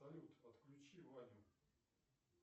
салют отключи ваню